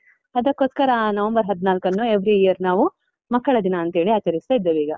ಅದಕೋಸ್ಕರ ಆ ನವೆಂಬರ್ ಹದ್ನಾಲ್ಕನ್ನು every year ನಾವು ಮಕ್ಕಳ ದಿನ ಅಂತ ಹೇಳಿ ಆಚರಿಸ್ತಾ ಇದ್ದೇವೆ ಈಗ.